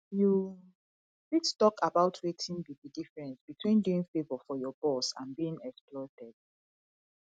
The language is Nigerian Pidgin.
you fit talk about wetin be di difference between doing favor for your boss and being exploited